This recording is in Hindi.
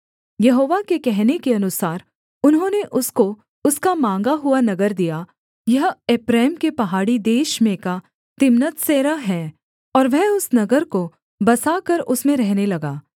यहोवा के कहने के अनुसार उन्होंने उसको उसका माँगा हुआ नगर दिया यह एप्रैम के पहाड़ी देश में का तिम्नत्सेरह है और वह उस नगर को बसाकर उसमें रहने लगा